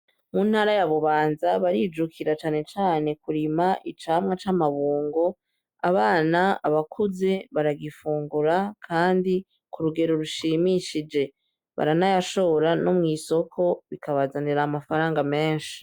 Muntara y'abubanza barijukira cane cane kurima icamwa ca mabungo. Abana, abakuze baragifungura kandi kurugero rushimishije baranayashora no mw’isoko bikabazanira amafaranga meshi .